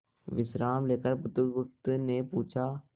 विश्राम लेकर बुधगुप्त ने पूछा